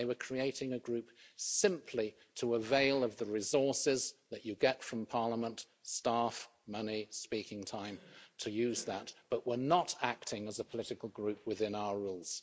They were creating a group simply to avail of the resources that you get from Parliament staff, money, speaking time to use that, but were not acting as a political group within our rules.